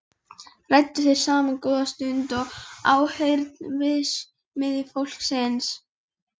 Ræddu þeir saman góða stund í áheyrn verksmiðjufólksins.